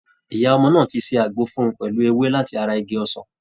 Ìyá ọmọ náà ti ṣe àgbo fún un pẹ̀lú ewé láti ara Igi osan.